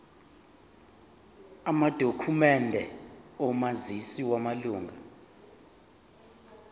amadokhumende omazisi wamalunga